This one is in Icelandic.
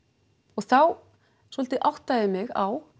þá svolítið áttaði ég mig á